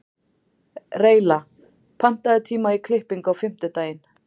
Reyla, pantaðu tíma í klippingu á fimmtudaginn.